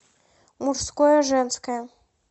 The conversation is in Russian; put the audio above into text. мужское женское